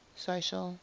social